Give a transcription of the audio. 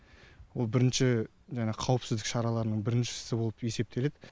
ол бірінші жаңағы қауіпсіздік шараларының біріншісі болып есептеледі